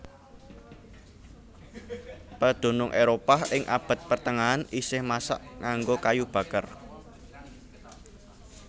Pedunung Éropah ing abad pertengahan isih masak nganggo kayu baker